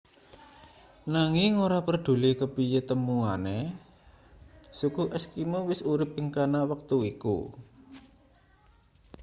nanging ora preduli kepiye temuane suku eskimo wis urip ing kana wektu iku